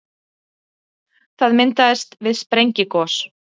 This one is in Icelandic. það myndast við sprengigos